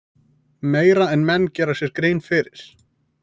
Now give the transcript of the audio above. Meira en menn gera sér grein fyrir.